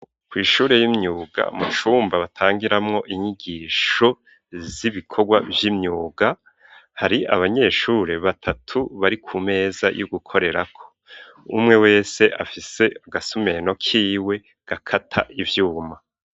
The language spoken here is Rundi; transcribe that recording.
Kw'ishure y'imyuga mu cumba batangiramwo inyigisho z'ibikorwa by'imyuga hari abanyeshure batatu bari ku meza yo gukorera ko umwe wese afise agasumeno k'iwe gakata ivyuma.